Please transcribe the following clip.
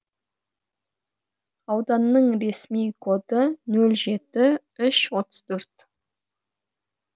ауданның ресми коды нөл жеті үш отыз төрт